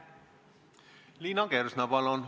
Liina Kersna, palun!